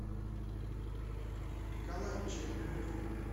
николай чембелев